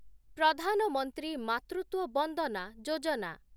Pradhan Mantri Matritva Vandana Yojana